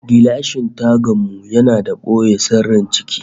Gilashin tagan mu yana da boye sirrin ciki